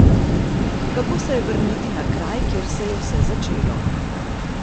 Kako se je vrniti na kraj, kjer se je vse začelo?